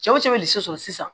Cɛw cɛ bɛ de so sɔrɔ sisan